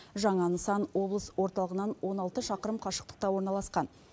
жаңа нысан облыс орталығынан он алты шақырым қашықтықта орналасқан